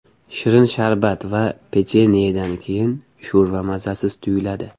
Shirin sharbat va pechenyedan keyin sho‘rva mazasiz tuyuladi.